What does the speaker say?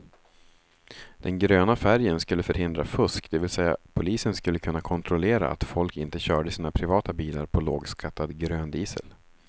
Den gröna färgen skulle förhindra fusk, det vill säga polisen skulle kunna kontrollera att folk inte körde sina privata bilar på lågskattad gröndiesel.